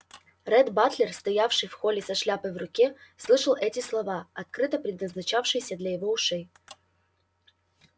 ретт батлер стоявший в холле со шляпой в руке слышал эти слова открыто предназначавшиеся для его ушей